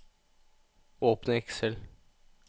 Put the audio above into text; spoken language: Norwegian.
Åpne Excel